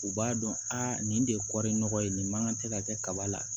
U b'a dɔn a nin de ye kɔɔri nɔgɔ ye nin man kan tɛ ka kɛ kaba la